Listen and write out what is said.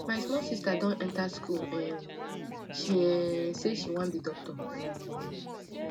my small sister don enta school um she um sey she wan be doctor um